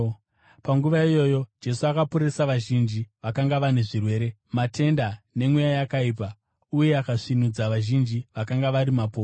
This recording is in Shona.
Panguva iyoyo Jesu akaporesa vazhinji vakanga vane zvirwere, matenda nemweya yakaipa uye akasvinudza vazhinji vakanga vari mapofu.